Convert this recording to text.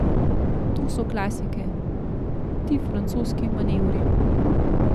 To so klasike, ti francoski manevri.